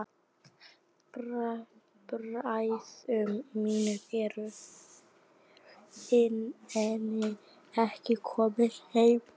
Bræður mínir eru enn ekki komnir heim.